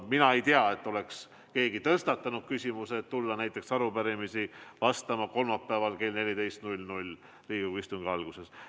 Mina ei tea, et oleks keegi tõstatanud küsimuse, et võiks tulla arupärimistele vastama kolmapäeviti kell 14 Riigikogu istungi alguses.